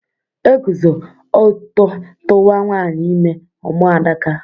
Eguzo ọtọ tuwa nwanyị ime, ọ mụọ Adaka